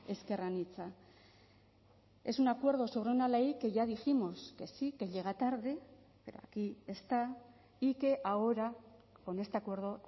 ezker anitza es un acuerdo sobre una ley que ya dijimos que sí que llega tarde pero aquí está y que ahora con este acuerdo